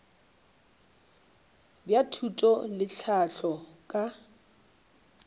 bja thuto le tlhahlo ka